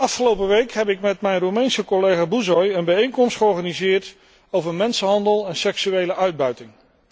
Afgelopen week heb ik met mijn Roemeense collega Buşoi een bijeenkomst georganiseerd over mensenhandel en seksuele uitbuiting.